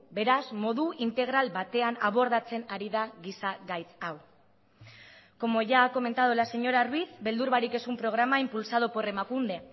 beraz modu integral batean abordatzen ari da giza gaitz hau como ya ha comentado la señora ruiz beldur barik es un programa impulsado por emakunde